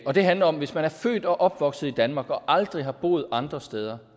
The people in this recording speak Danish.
og det handler om at hvis man er født og opvokset i danmark og aldrig har boet andre steder